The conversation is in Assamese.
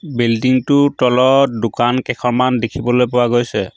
বিল্ডিং টোৰ তলত দোকান কেখনমান দেখিবলৈ পোৱা গৈছে।